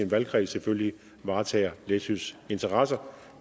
valgkreds selvfølgelig varetager læsøs interesser